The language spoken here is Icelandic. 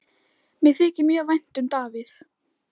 Mér þykir mjög vænt um Davíð.